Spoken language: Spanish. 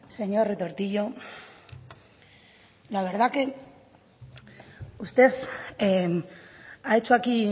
señor retortillo la verdad que usted ha hecho aquí